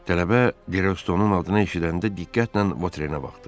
Tələbə Derestonun adını eşidəndə diqqətlə Votrenə baxdı.